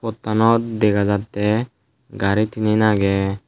pottanot dega jatte gari tinen aage.